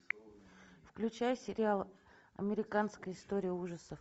включай сериал американская история ужасов